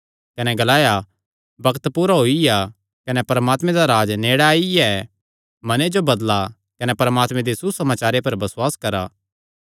कने ग्लाया बग्त पूरा होईया कने परमात्मे दा राज्ज नेड़े आईआ ऐ मने जो बदला कने परमात्मे दे सुसमाचारे पर बसुआस करा